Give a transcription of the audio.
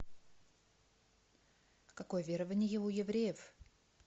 какое верование у евреев